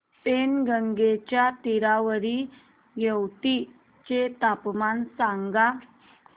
पैनगंगेच्या तीरावरील येवती चे तापमान सांगा